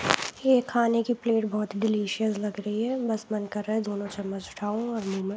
यह खाने की प्लेट बहुत डिलीशियस लग रही है बस मन कर रहा है दोनों चम्मच उठाउॅं और मुँह में --